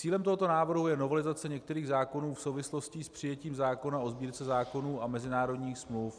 Cílem tohoto návrhu je novelizace některých zákonů v souvislosti s přijetím zákona o Sbírce zákonů a mezinárodních smluv.